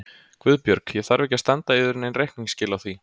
GUÐBJÖRG: Ég þarf ekki að standa yður nein reikningsskil á því.